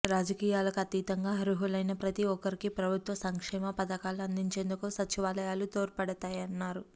రాజకీయాలకు అతీతంగా అర్హులైన ప్రతి ఒక్కరికీ ప్రభుత్వ సంక్షేమ పథకాలు అందించేందుకు సచివాలయాలు తోడ్పడతాయన్నారు